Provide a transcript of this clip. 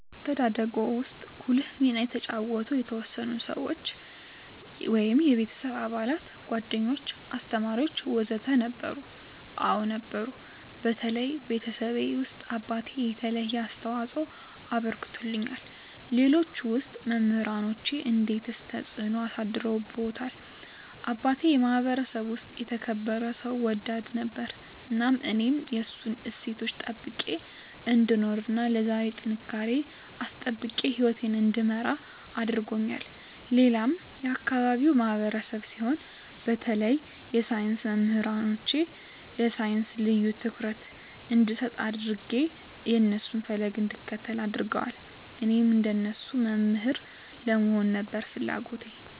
በአስተዳደግዎ ውስጥ ጉልህ ሚና የተጫወቱ የተወሰኑ ሰዎች (የቤተሰብ አባላት፣ ጓደኞች፣ አስተማሪዎች ወዘተ) ነበሩ? አዎ ነበሩ በተለይ ቤተሰቤ ውስጥ አባቴ የተለየ አስተዋፅኦ አበርክቶልኛል ሌሎች ውስጥ መምራኖቼ እንዴትስ ተጽዕኖ አሳድረውብዎታል አባቴ የማህበረሰቡ ውስጥ የተከበረ ሰው ወዳድ ነበር እናም እኔም የእሱን እሴቶች ጠብቄ እንድኖር እና ለዛሬ ጥንካሬየን አስጠብቄ ህይወቴን እንድመራ አድርጎኛል ሌላም የአካባቢው ማህበረሰብ ሲሆን በተለይ የሳይንስ መምህሮቼ ለሳይንስ ልዬ ትኩረት እንድሰጥ አድጌ የእነሱን ፈለግ እንድከተል አድርገዋል እኔም እንደነሱ መምህር ለመሆን ነበር ፍለጎቴ